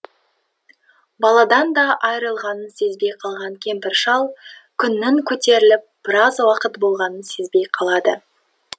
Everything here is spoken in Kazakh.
баладан да айырылғанын сезбей қалған кемпір шал күннің көтеріліп біраз уақыт болғанын сезбей қалады